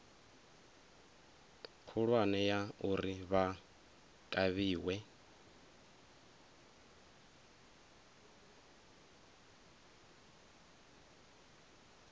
khulwane ya uri vha kavhiwe